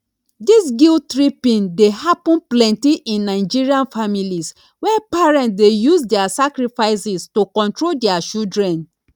dis guilttripping dey happen plenty in nigerian families where parents dey use dia sacrifices to control dia children